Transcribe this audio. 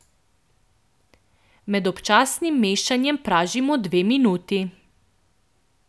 Med občasnim mešanjem pražimo dve minuti.